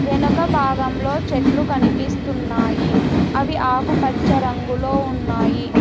వెనక భాగంలో చెట్లు కనిపిస్తున్నాయి అవి ఆకుపచ్చ రంగులో ఉన్నాయి.